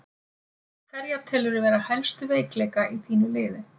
Hverja telurðu vera helstu veikleika í þínu liði?